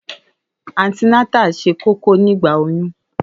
Àńti nátà sẹ kòkò nigba òyún